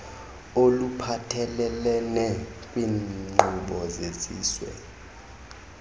oluphathelelene kwiinkqubo zesizwe